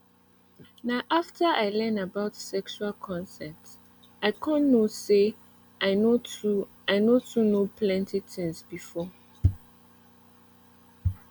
na after i learn about sexual consent i come know say i no too i no too know plenty things before